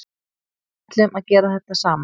Ætluðum að gera þetta saman